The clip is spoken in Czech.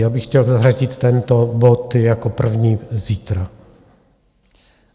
Já bych chtěl zařadit tento bod jako první zítra.